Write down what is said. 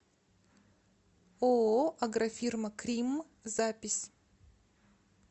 ооо агрофирма кримм запись